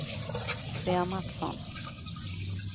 Svea Matsson